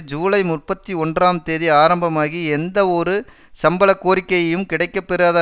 ஜூலை முப்பத்தி ஒன்றாம் தேதி ஆரம்பமாகி எந்தவொரு சம்பள கோரிக்கையும் கிடைக்கப்பெறாத